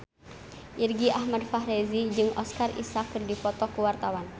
Irgi Ahmad Fahrezi jeung Oscar Isaac keur dipoto ku wartawan